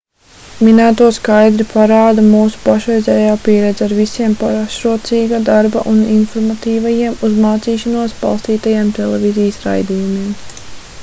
minēto skaidri parāda mūsu pašreizējā pieredze ar visiem pašrocīga darba un informatīvajiem uz mācīšanos balstītajiem televīzijas raidījumiem